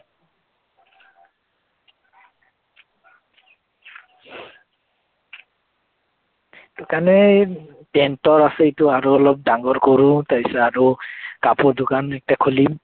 সেইটো কাৰনে এৰ টেন্টৰ আছে এইটো আৰু অলপ ডাঙৰ কৰো, তাৰপিছত আৰু কাপোৰৰ দোকান এটাা খুলিম